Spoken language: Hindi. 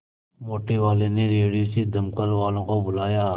मोटेवाले ने रेडियो से दमकल वालों को बुलाया